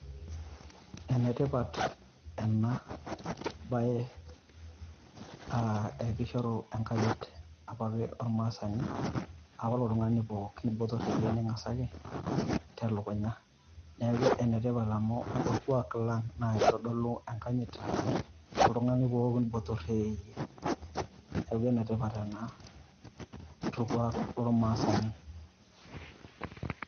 Enetipat ena baye aa kishoru enkanyit apa olmaasani aa ore poki tung`ani botorr teyie ning`asaki telukunya. Niaku enetipat amu olkuak lang naa kitodolu enkajit toltung`ani pooki botorr tee eyie. Niaku ene tipat ena to lkuak lo ilmaasani.